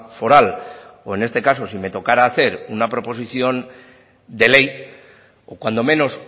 foral o en este caso si me tocara hacer una proposición de ley o cuando menos